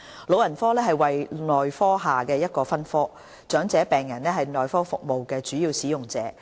老人科為內科下的一個分科，長者病人是內科服務的主要使用者。